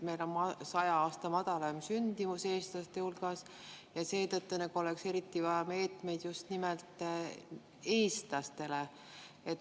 Meil on 100 aasta madalaim sündimus eestlaste hulgas ja seetõttu oleks eriti vaja meetmeid just nimelt eestlastele.